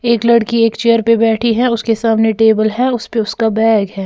एक लड़की एक चेयर पर बैठी है उसके सामने टेबल है उस पे उसका बैग है।